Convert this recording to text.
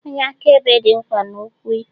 onye akaebe dị mkpa n'okwu ikpe